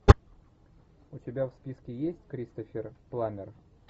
у тебя в списке есть кристофер пламмер